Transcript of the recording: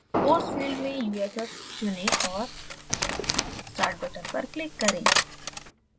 force field में uff चुनें और start button पर click करें